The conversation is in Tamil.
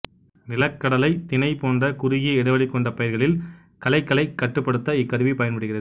நிலக்கடலை திணைப் போன்ற குறுகிய இடைவெளி கொண்டப் பயிர்களில் களைகளைக் கட்டுப்படுத்த இக்கருவி பயன்படுகிறது